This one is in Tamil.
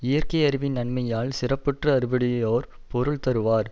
இயற்கை யறிவின் நன்மையால் சிறப்புற்ற அறிவுடையோர் பொருள் தருவார்